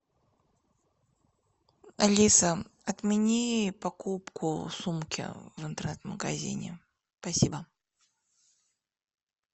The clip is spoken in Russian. алиса отмени покупку сумки в интернет магазине спасибо